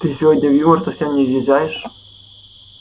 ты сегодня в юмор совсем не въезжаешь